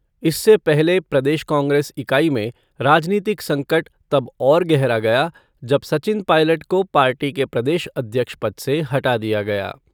इससे पहले प्रदेश कांग्रेस इकाई में राजनीतिक संकट तब और गहरा गया जब सचिन पायलट को पार्टी के प्रदेश अध्यक्ष पद से हटा दिया गया।